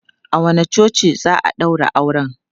A wanne coci za a ɗaura auren?